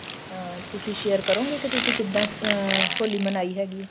ਤਾਂ ਤੁਸੀਂ share ਕਰੋਗੇ ਕਿ ਤੁਸੀਂ ਕਿੱਦਾਂ ਅਹ ਹੋਲੀ ਮਨਾਈ ਹੈਗੀ ਏ